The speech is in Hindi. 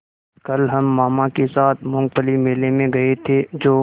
कल हम मामा के साथ मूँगफली मेले में गए थे जो